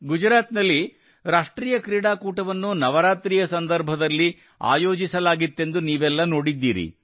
ಗುಜರಾತ್ ನಲ್ಲಿ ರಾಷ್ಟ್ರೀಯ ಕ್ರೀಡಾಕೂಟವನ್ನು ನವರಾತ್ರಿಯ ಸಂದರ್ಭದಲ್ಲಿ ಆಯೋಜಿಸಲಾಗಿತ್ತೆಂದು ನೀವೆಲ್ಲಾ ನೋಡಿದ್ದೀರಿ